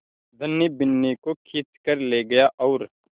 धनी बिन्नी को खींच कर ले गया और